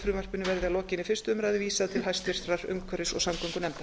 frumvarpinu verði að lokinni fyrstu umræðu vísað til hæstvirtrar umhverfis og samgöngunefndar